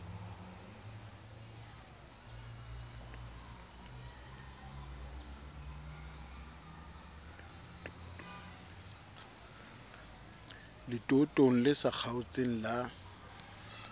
letootong le sa kgaotseng la